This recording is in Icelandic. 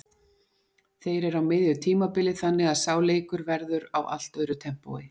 Þeir eru á miðju tímabili þannig að sá leikur verður á allt öðru tempói.